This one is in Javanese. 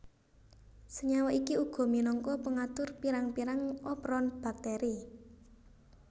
Senyawa iki uga minangka pengatur pirang pirang operon bakteri